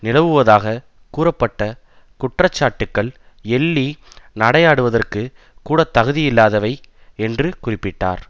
நிலவுவதாக கூறப்பட்ட குற்றச்சாட்டுக்கள் எள்ளி நடையாடுவதற்கு கூடத்தகுதியில்லாதவை என்று குறிப்பிட்டார்